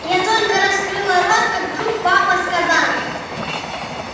я только раскрыла рот как вдруг папа сказал